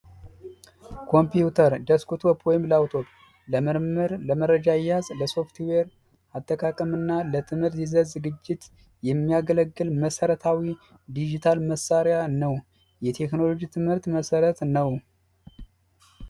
ኮምፒዩተር ዴስክቶፕ ወይም ላፕቶፕ ለመረጃ አያያዝ ለሶፍትዌር አጠቃቀም እና ለትምህርት ዝግጅት የሚያገለግል መሰረታዊ ዲጂታል መሳሪያ ነው የቴክኖሎጂ ትምህርት መሠረት ነው